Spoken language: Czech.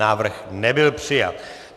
Návrh nebyl přijat.